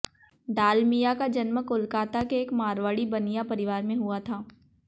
डालमिया का जन्म कोलकाता के एक मारवाड़ी बनिया परिवार में हुआ था